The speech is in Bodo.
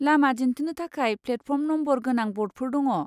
लामा दिन्थिनो थाखाय प्लेटफर्म नम्बर गोनां ब'र्डफोर दङ।